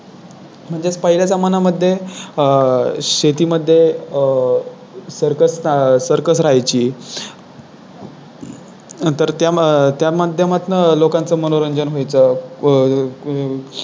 म्हणजे पहिल्या जमान्यामध्ये अह शेती मध्ये अह सर्कस अह सर्कस राहायची तर त्या मग त्या माध्यमातून लोकांचे मनोरंजन व्हायचं अह